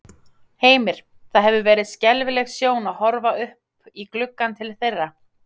Heimir: Það hefur verið skelfileg sjón að horfa upp í gluggann til þeirra?